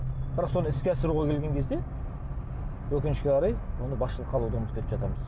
бірақ соны іске асыруға келген кезде өкінішке қарай оны басшылыққа алуды ұмытып кетіп жатамыз